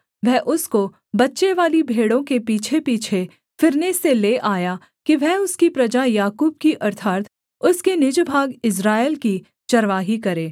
वह उसको बच्चेवाली भेड़ों के पीछेपीछे फिरने से ले आया कि वह उसकी प्रजा याकूब की अर्थात् उसके निज भाग इस्राएल की चरवाही करे